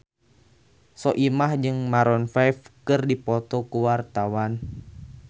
Soimah jeung Maroon 5 keur dipoto ku wartawan